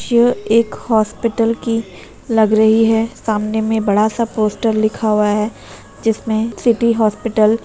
यह एक हॉस्पिटल कि लग रही है। सामने में बड़ा सा पोस्टर लिखा हुआ है जिसमें सिटी हॉस्पिटल --